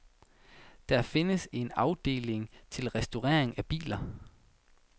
Der findes en afdeling til restaurering af biler.